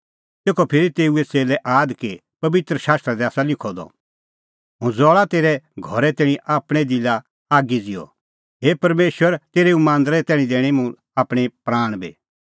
तेखअ फिरी तेऊए च़ेल्लै आद कि पबित्र शास्त्रा दी आसा लिखअ द हुंह ज़ल़ा तेरै घरे तैणीं आपणैं दिलै आगी ज़िहअ हे परमेशर तेरै एऊ मांदरे तैणीं दैणैं मुंह आपणैं प्राण बी